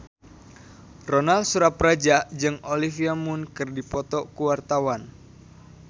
Ronal Surapradja jeung Olivia Munn keur dipoto ku wartawan